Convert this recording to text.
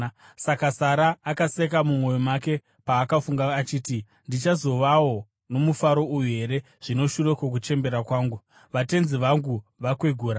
Saka Sara akaseka mumwoyo make paakafunga achiti, “Ndichazovawo nomufaro uyu here zvino shure kwokuchembera kwangu, vatenzi vangu vakwegura?”